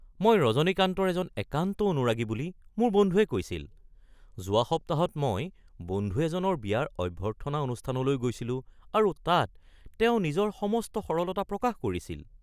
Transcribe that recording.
মই ৰজনীকান্তৰ এজন একান্ত অনুৰাগী বুলি মোৰ বন্ধুৱে কৈছিল। "যোৱা সপ্তাহত মই বন্ধু এজনৰ বিয়াৰ অভ্যৰ্থনা অনুষ্ঠানলৈ গৈছিলোঁ আৰু তাত তেওঁ নিজৰ সমস্ত সৰলতা প্ৰকাশ কৰিছিল"